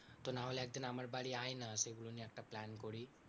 তো নাহলে একদিন আমার বাড়ি আয় না, সেগুলো নিয়ে একটা plan করি।